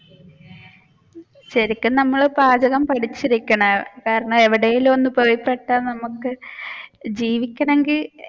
ശരിക്കും നമ്മൾ പാചകം പഠിച്ചിരിക്കണം കാരണം നമ്മൾ എവിടേലും ഒന്ന് പോയിപെട്ടാൽ നമ്മുക്ക് ജീവിക്കണമെങ്കിൽ